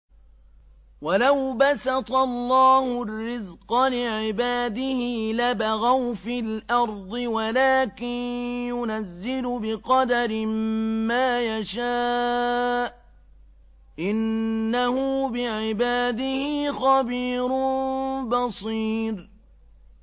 ۞ وَلَوْ بَسَطَ اللَّهُ الرِّزْقَ لِعِبَادِهِ لَبَغَوْا فِي الْأَرْضِ وَلَٰكِن يُنَزِّلُ بِقَدَرٍ مَّا يَشَاءُ ۚ إِنَّهُ بِعِبَادِهِ خَبِيرٌ بَصِيرٌ